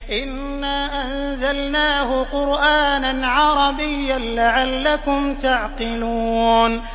إِنَّا أَنزَلْنَاهُ قُرْآنًا عَرَبِيًّا لَّعَلَّكُمْ تَعْقِلُونَ